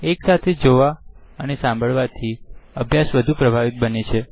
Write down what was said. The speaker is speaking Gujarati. એક સાથે જોવા અને સાંભળવા થી અભ્યાસ વધુ પ્રભાવિત બને છે